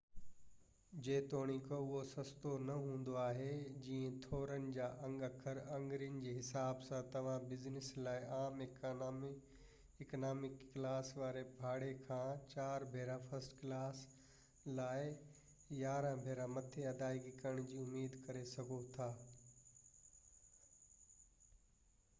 جيتوڻيڪ اهو سستو نه هوندو آهي جيئن ٿورن جا انگ اکر آڱرين جي حساب سان توهان بزنس لاءِ عام اڪانامي ڪلاس واري ڀاڙي کان چار ڀيرا فرسٽ ڪلاس لاءِ يارانهن ڀيرا مٿي ادائگي ڪرڻ جي اميد ڪري سگهو ٿا